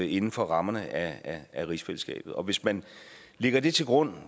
inden for rammerne af rigsfællesskabet og hvis man lægger det til grund